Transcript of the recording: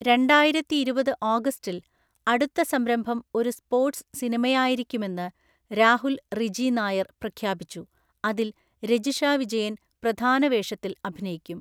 രണ്ടായിരത്തിഇരുപത് ഓഗസ്റ്റിൽ, അടുത്ത സംരംഭം ഒരു സ്‌പോർട്‌സ് സിനിമയായിരിക്കുമെന്ന് രാഹുൽ റിജി നായർ പ്രഖ്യാപിച്ചു, അതിൽ രജിഷ വിജയൻ പ്രധാന വേഷത്തിൽ അഭിനയിക്കും.